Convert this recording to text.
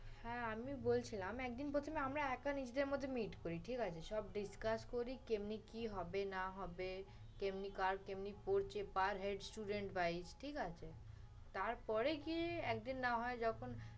হ্যাঁ আমিও বলছিলাম একদিন প্রথমে আমরা একা নিজেদের মধ্যে meet করি, ঠিক আছে? সব discuss করি, কেমনে কি হবে না হবে, কেমনে কাজ যেমনি করছি per head student price, ঠিক আছে? তারপরে গিয়ে একদিন না হয় যখন